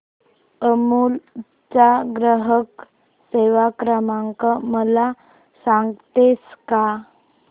अमूल चा ग्राहक सेवा क्रमांक मला सांगतेस का